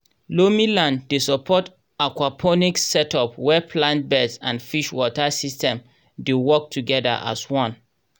loamy land dey support aquaponics setup where plant beds and fish water system dey work together as one.